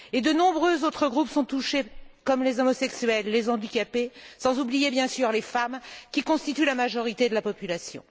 De nombreux autres groupes sont touchés, comme les homosexuels, les handicapés, sans oublier bien sûr les femmes, qui constituent la majorité de la population.